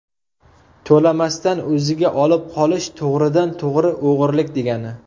To‘lamasdan o‘ziga olib qolish to‘g‘ridan-to‘g‘ri o‘g‘rilik, degani.